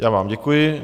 Já vám děkuji.